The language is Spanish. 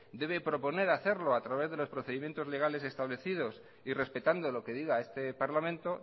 debe proponer hacerlo a través de los procedimientos legales establecidos y respetando lo que diga este parlamento